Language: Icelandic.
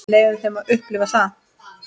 Leyfum þeim að upplifa það.